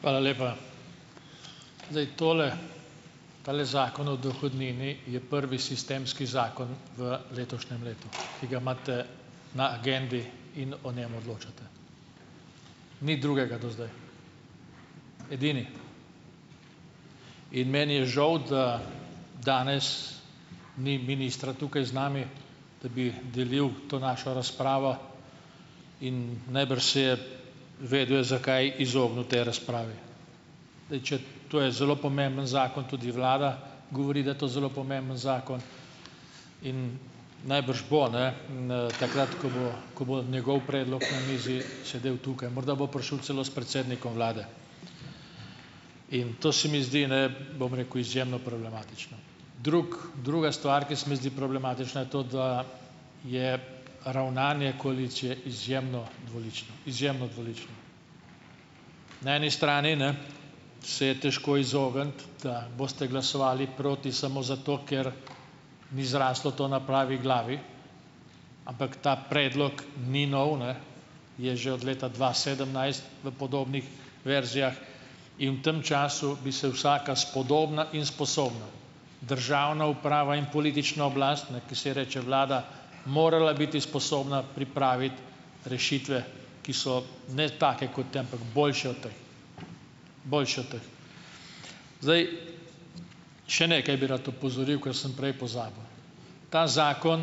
Hvala lepa. zdaj tole, tale Zakon o dohodnini je prvi sistemski zakon v letošnjem letu, ki ga imate na agendi in o njem odločate, ni drugega do zdaj, edini. In meni je žal, da danes ni ministra tukaj z nami, da bi delil to našo razpravo; in najbrž se je vedel je, zakaj izognil tej razpravi. Zdaj če ... To je zelo pomemben zakon, tudi vlada govori, da je to zelo pomemben zakon, in najbrž bo, ne, takrat, ko bo ko bo njegov predlog na mizi, sedel tukaj, morda bo prišel celo s predsednikom vlade. In to se mi zdi, ne, bom rekel, izjemno problematično. Druga stvar, ki se mi zdi problematična, je to, da je ravnanje koalicije izjemno dvolično, izjemno dvolično. Na eni strani, ne, se je težko izogniti, da boste glasovali proti samo zato, ker ni zraslo to na pravi glavi. Ampak ta predlog ni nov, ne, je že od leta dva sedemnajst v podobnih verzijah, in v tem času bi se vsaka spodobna in sposobna državna uprava in politična oblast, ne, ki se ji reče vlada, morala biti sposobna pripraviti rešitve, ki so, ne take kot te, ampak boljše od teh. Boljše od teh zdaj. Še nekaj bi rad opozoril, ker sem prej pozabil. Ta zakon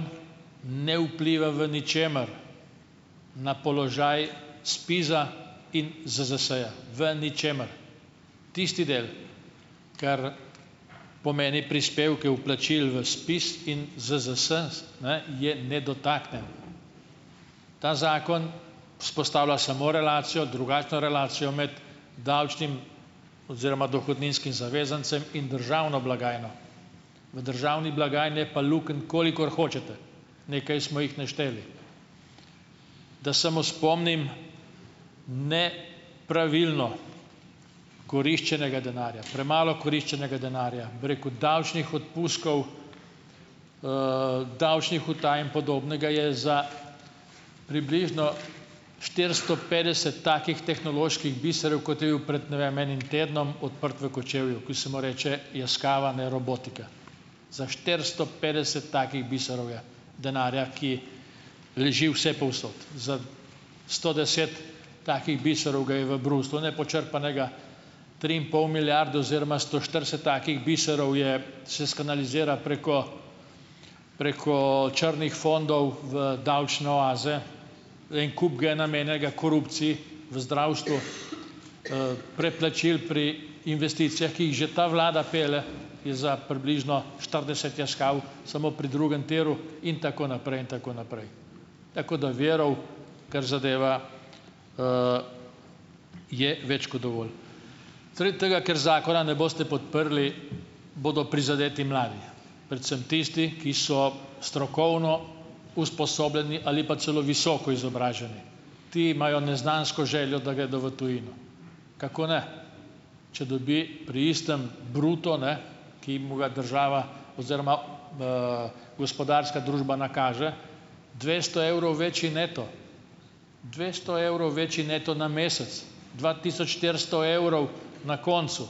ne vpliva v ničemer na položaj SPIZ-a in ZZS-ja, v ničemer. Tisti del, ker pomeni prispevke vplačil v SPIZ in ZZS, ne, je nedotaknjen. Ta zakon vzpostavlja samo relacijo, drugačno relacijo med davčnim oziroma dohodninskim zavezancem in državno blagajno. V državni blagajni je pa lukenj, kolikor hočete, nekaj smo jih našteli. Da samo spomnim, ne pravilno koriščenega denarja, premalo koriščenega denarja, bi rekel, davčnih odpustkov, davčnih utaj in podobnega je za približno štiristo petdest takih tehnoloških biserov, kot je bil pred, ne vem, enim tednom odprt v Kočevju, ki se mu reče Yaskawa, ne, robotika. Za štiristo petdeset takih biserov je denarja, ki leži vsepovsod. Za sto deset takih biserov ga je v Bruslju, nepočrpanega, tri in pol milijarde oziroma sto štirideset takih biserov je se skanalizira preko preko črnih fondov v davčne oaze, en kup ga je namenjenega korupciji v zdravstvu, preplačil pri investicijah, ki jih že ta vlada pelje, je za približno štirideset Yaskaw, samo pri drugem tiru in tako naprej in tako naprej. Tako da virov, kar zadeva, je več kot dovolj. Zaradi tega, ker zakona ne boste podprli, bodo prizadeti mladi, predvsem tisti, ki so strokovno usposobljeni ali pa celo visoko izobraženi. Ti imajo neznansko željo, da gredo v tujino, kako ne, če dobi pri istem bruto, ne, ki mu ga država oziroma, gospodarska družba nakaže, dvesto evrov večji neto, dvesto evrov večji neto na mesec, dva tisoč štiristo evrov na koncu.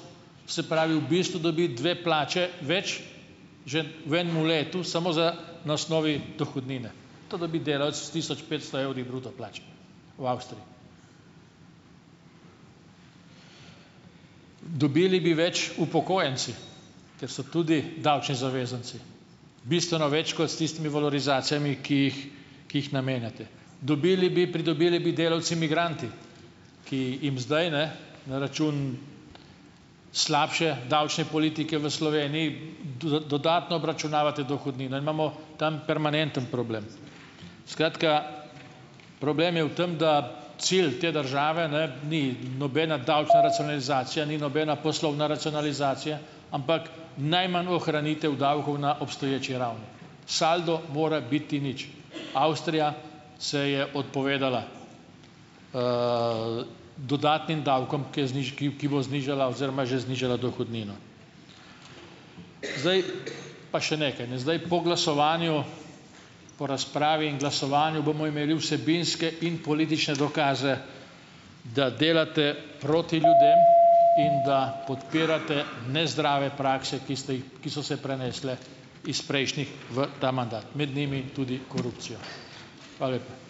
Se pravi, v bistvu dobi dve plači več že v enem letu, samo za na osnovi dohodnine. To dobi delavec s tisoč petsto evri bruto plače v Avstriji. Dobili bi več upokojenci, ker so tudi davčni zavezanci, bistveno več kot s tistimi valorizacijami, ki jih, ki jih namenjate. Dobili bi, pridobili bi delavci migranti, ki jim zdaj, ne, na račun slabše davčne politike v Sloveniji, dodatno obračunavate dohodnino. Imamo tam permanentni problem. Skratka, problem je v tem, da cilj te države, ne, ni nobena davčna racionalizacija, ni nobena poslovna racionalizacija, ampak najmanj ohranitev davkov na obstoječi ravni. Saldo mora biti nič. Avstrija se je odpovedala, dodatnim davkom, ki je ki bo znižala oziroma je že znižala dohodnino. Zdaj, pa še nekaj ne. Zdaj, po glasovanju, po razpravi in glasovanju bomo imeli vsebinske in politične dokaze, da delate proti ljudem in da podpirate nezdrave prakse, ki ste jih, ki so se prenesle iz prejšnjih v ta mandat - med njimi tudi korupcijo. Hvala lepa.